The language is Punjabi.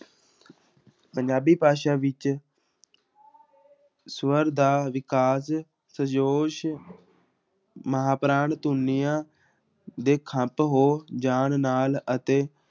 ਪੰਜਾਬੀ ਭਾਸ਼ਾ ਵਿੱਚ ਸਵਰ ਦਾ ਮਹਾਂਪੁਰਾਣ ਧੁਨੀਆਂ ਦੇ ਹੋ ਜਾਣ ਨਾਲ ਅਤੇ